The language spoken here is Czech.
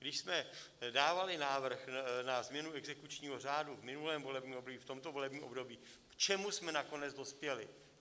Když jsme dávali návrh na změnu exekučního řádu v minulém volebním období, v tomto volebním období, k čemu jsme nakonec dospěli?